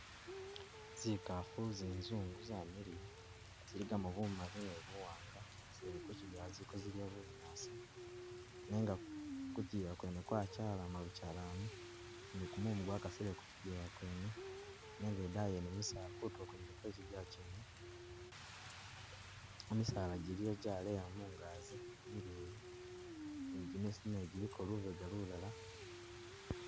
Zikafu zinzungu zamiliya ziligamo bumali ni buwanga zili kuchijewa ziliko zidya bunyasi nenga kuchiyila kwene kwachalama buchalami ni gumumu gwakasile kuchijewa kwene nenga idayi yene misaala kutulo kwene kwechijewa kwene misaala giliwo jaleya mungazi mileyi ni gimisitu naye giliko lubega lulala